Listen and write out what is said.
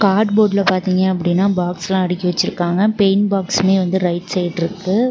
Card போர்டுல பாத்தீங்க அப்டினா பாக்ஸ்லா அடிக்கி வச்சுருக்காங்க பெயிண்ட் பாக்ஸ்மே வந்து ரைட் சைடு ருக்கு.